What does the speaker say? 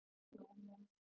Takk fyrir jólin.